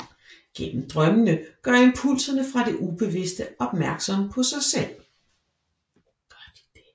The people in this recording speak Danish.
Gennem drømmene gør impulserne fra det ubevidste opmærksomme på sig selv